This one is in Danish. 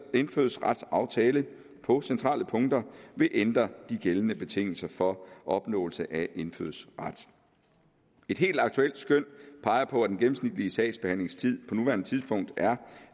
indfødsretsaftale på centrale punkter vil ændre de gældende betingelser for opnåelse af indfødsret et helt aktuelt skøn peger på at den gennemsnitlige sagsbehandlingstid på nuværende tidspunkt er